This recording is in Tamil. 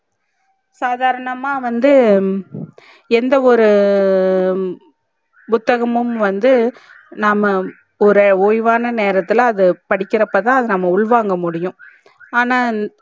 சாதாரணமா வந்து எந்த ஒரு புத்தகமும் வந்து நாம ஒரு ஓய்வான நேரத்துல அதா படிக்கரப்ப தா அத உள் வாங்க முடியும் ஆனா